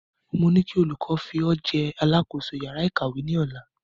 Mo ní kí olùkọ fi o jẹ alákòóso yàrá ìkàwé ni Ọ̀la